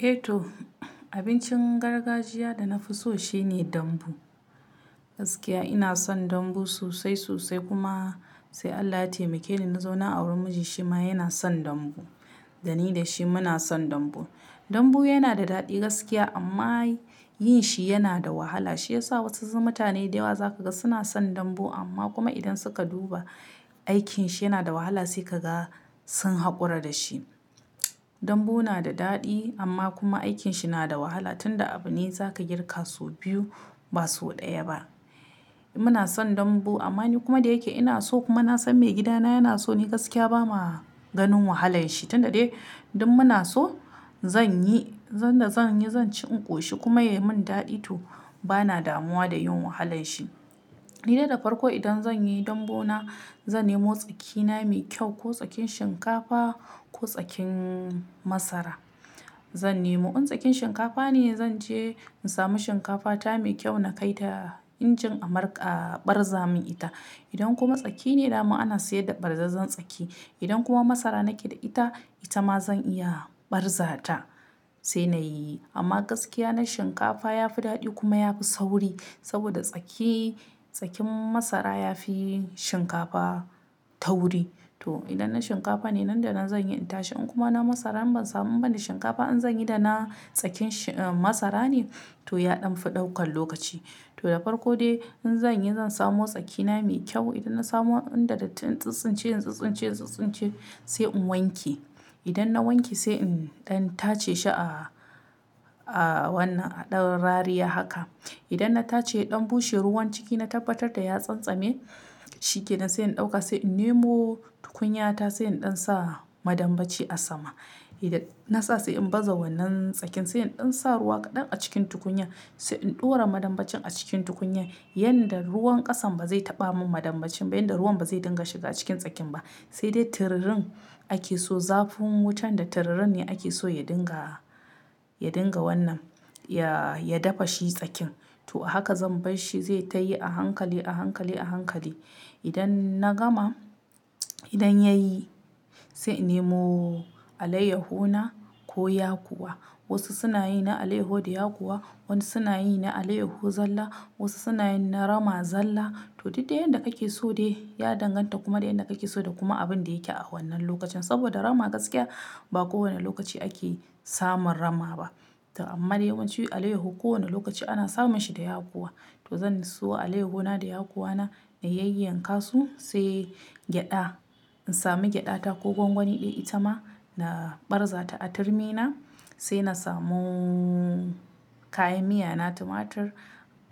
Eh! To abincin gargajiyar da na fi so shine dambu. Gaskiya ina son dambu sosai-sosai kuma sai Allah ya taimake ni na zauna auren mijina shi ma yana son dambu. Da ni da shi muna son dambu. Dambu yana da daɗi gaskiya amma yin shi yana da wahala. Shi ya sa wasu mutane da yawa za ka ga suna son dambu amma kuma idan suka duba aikin shi yana da wahala sai ka ga sun haƙura da shi. Dambu na da daɗi amma kuma aikin shi na da wahala tun da abu ne za ka girka sau biyu ba sau ɗaya ba. Muna son dambu amma ni kuma da yake ina so kuma na san mai gidana yana so ni gaskiya ba ma ganin wahalar shi. Tun da dai duk muna so zan yi, zan da zan yi zan ci in ƙoshi kuma ya yi min daɗi to bana damuwa da yin wahalar shi. Ni dai da farko idan zan yi dambu na zan nemo tsaki na mai kyau ko tsakin shinkafa ko tsakin masara zan nemo. In tsakin shinkafa ne zan je in samu shinkafa ta mai kyau na kai ta injin abarza mun ita. Idan kuma tsaki ne dama ana sayar da ɓarzazzan tsaki. Idan kuma masara nake da ita, ita ma zan iya ɓarza ta sai na yi. Amma gaskiya na shinkafa ya fi daɗi kuma ya fi sauri saboda tsaki, tsakin masara ya fi shinkafa tauri. To idan na shinkafa ne nan da nan zan yi in tashi in kuma na masara ban samu ba ni shinkafa in zan yi da na tsakin masara ne to yaɗan fi ɗaukan lokaci. To da farko dai in zan yi zan samo tsaki na mai kyau. Idan na samu inda datti in tsintsince, in tsintsince, in tsintsince sai in wanke. Idan na wanke sai in ɗan tace shi a wata ɗan rariya haka. Idan na tace ya ɗan bushe ruwan ciki na tabbatar da ya tsantsame shikenan sai in ɗauka sai in nemo tukunya ta sai in ɗan sa madambaci a sama. Idan na sa sai in baza wannan tsakin sai in ɗan sa ruwa kaɗan a cikin tukunyar sai in ɗora madambacin a cikin tukunyar yanda ruwan ƙasan ba zai taɓa min madambacin ba yanda ruwan ba zai dinga shiga cikin tsakin ba. Sai dai tururin ake so zafin wutan da tururin ne ake so ya dinga, ya dinga wannan ya, ya dafa shi tsakin. To a haka zan bar shi zai tayi a hankali, a hankali, a hankali. Idan na gama, idan yayi sai in nemo alayyahu na ko yakuwa. Wasu suna yi na alayyahu da yakuwa, wasu suna yi na alayyahu zalla, wasu suna yin na rama zalla. To duk de yadda kake so dai ya danganta kuma da yanda kake so da kuma abin da yake a wannan lokacin. Saboda rama gaskiya ba kowane lokaci ake samun rama ba. To amma dai yawanci alayyahu kowane lokaci ana samun shi da yakuwa. To zan siyo alayyahu na da yakuwa na na yayyanka su sai gyaɗa. In sami gyaɗa ta ko gwangwani ɗaya ita ma na ɓarza ta a turmi na sai na samu kayan miya na tumatur,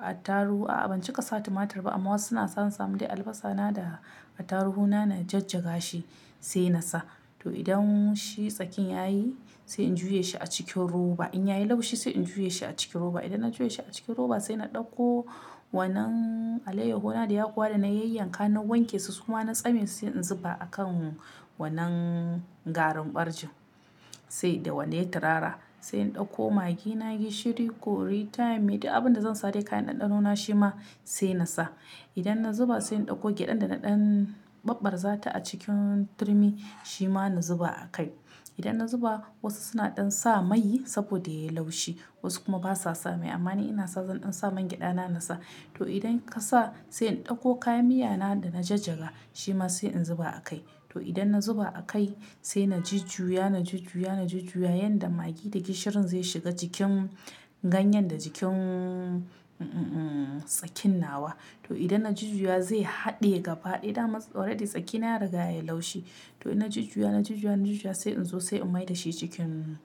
attaru. A'a ban cika sa tumatur ba amma wasu suna sa sam dai albasa na da attaruhu na na jajjaga shi sai na sa. To idan shi tsakin yayi sai in juya shi a cikin roba. In yayi laushi sai in juya shi a cikin roba. Idan na juya shi a cikin roba sai na ɗauko wannan alayyahu na da yakuwa da na yayyanka na wanke su kuma na tsame su sai in zuba a kan wannan garin ɓarjin sai da wannan turara. Sai in ɗauko maggi na, gishiri, curry, thyme duk abin da zan sa de kayan ɗanɗano na shi ma sai na sa. Idan na zuba sai in ɗauko gyaɗan da na ɗan ɓarɓarza ta a cikin turmi shi ma na zuba a kai. Idan na zuba wasu suna ɗan sa mai saboda yayi laushi wasu kuma ba sa sa mai amma ni ina son zan ɗan sa man gyaɗana na sa. To idan ka sa sai in ɗauko kayan miya na da na jajjaga shi ma sai in zuba a kai. To idan na zuba a kai sai na jujuya, na jujuya, na jujuya yanda maggi da gishirin zai shiga jikin ganyen da jikin, uhm tsakin nawa. To idan na jujjuya zai haɗe gaba ɗaya daman already tsakina ya riga yayi laushi. To ina jujjuya, na jujjuya, na jujjuya sai in zo sai in mai da shi cikin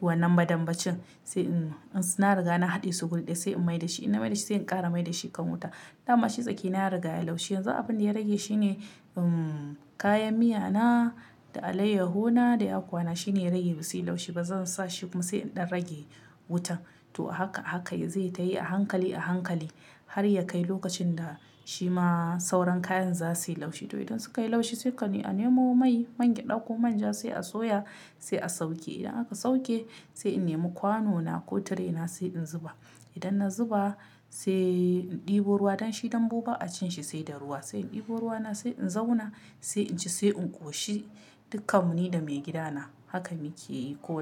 wannan madambacin. Sai in na riga na haɗe su guri daya sai in mai da shi. In na mai da shi sai in ƙara mai da shi kan wuta. Daman shi tsaki na ya riga yayi laushi yanzu abin da ya rage shine uhm kayan miya na da alayyahu na da yakuwa na shine ya rage basu yi laushi ba. Zan sa shi kuma sai in ɗan rage wuta. To a haka, a haka zai tayi a hankali, a hankali har ya kai lokacin da shi ma sauran kayan za su yi laushi. To idan suka yi laushi sai ka nemo mai, man gyaɗa ko manja sai a soya sai a sauke. Idan aka sauke sai in nemo kwano na ko tire na sai in zuba. Idan na zuba sai in ɗebo ruwa. Dan shi dambu ba a cin shi sai da ruwa. Sai in ɗebo ruwa na sai in zauna sai inci sai in ƙoshi. Duk kam mu ni da maigida na haka muke yi koyaushe.